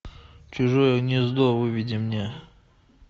чужое гнездо выведи мне